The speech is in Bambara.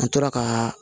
An tora ka